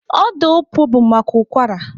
Ọda opuo bụ maka ụkwara.